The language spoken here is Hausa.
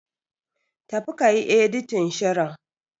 Tafi kayi Editin shirin.